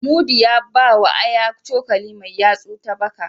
Mudi ya bawa Aya cokali mai yatsu ta baka.